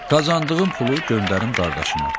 Qazandığım pulu göndərim qardaşıma.